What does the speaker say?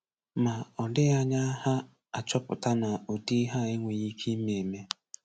Ma, ọ dịghị anya ha achọpụta na ụdị ihe a enweghị ike ime eme.